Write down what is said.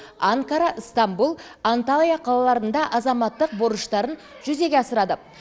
анкара ыстамбұл анталия қалаларында азаматтық борыштарын жүзеге асырады